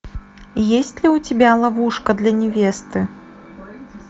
есть ли у тебя ловушка для невесты